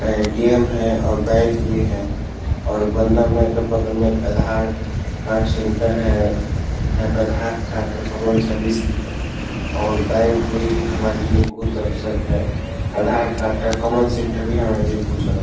ATM. है और bank भी है और बंधन बैंक के बगल में एक आधार कार्ड सेंटर है। यहाँ पे आधार कार्ड का कॉमन सर्विस भी है और बैंक में भी हमारे लिए बहुत अवसर हैं। आधार कार्ड का कॉमन सेंटर भी हमारे लिए बहुत जरूरत है।